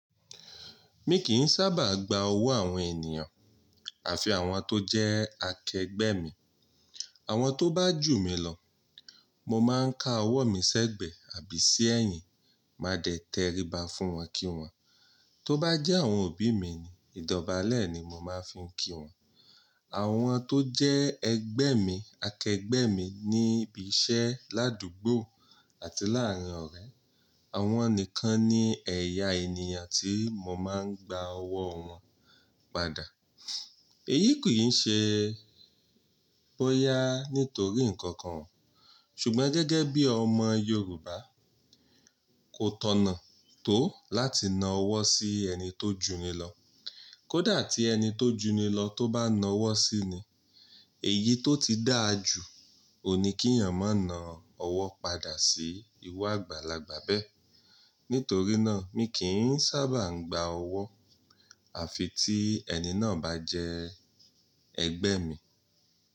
Mi kì í sábà gba owó àwọn ènìyàn, àfi àwọn tó jẹ́ akẹgbẹ́ mi. Àwọn tó bá jù mí lọ, mo máa ń ka owó mi sẹ́gbẹ̀ àbí sí ẹ̀yìn, máa dẹ tèríba fún wọn kí wọ́n. Tóbá jẹ́ àwọn òbí mi ni, ìdóbálẹ̀ ni mo máa fi ń kí wọ́n. Àwọn tó jẹ́ ẹgbẹ́ mi, akẹgbẹ́ mi níbi iṣẹ́, ládùúgbò àti láàárin ọ̀rẹ́, àwọn nìkan ni ẹ̀yà ènìyàn tí mo máa ń gba owó wọn padà. Èyí kì í ṣe bóyá nítorí nǹkan kan, ṣùgbọ́n gẹ́gẹ́ bí ọmọ Yorùbá, kò tọ̀nà tó láti na owó sí ẹni tó jù ní lọ. Kódà tí ẹni tó jù ni lọ tó bá na owó sí ni, èyí tó ti dáa jù oun ni kí ènìyàn máa na owó padà sí iru agbàlagbà bẹ́ẹ̀. Nítorí náà mi kì í sábà gba owó, àfi tí ẹni náà bá jẹ́ ẹgbẹ́ mi.